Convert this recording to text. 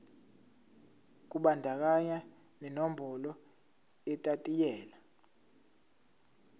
kubandakanya nenombolo yetayitela